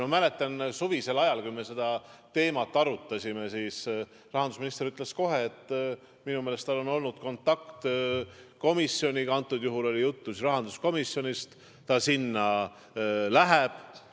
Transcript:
Ma mäletan, et suvisel ajal, kui me seda teemat arutasime, rahandusminister ütles kohe, et tal on olnud kontakt komisjoniga – antud juhul oli jutt rahanduskomisjonist –, et ta sinna läheb.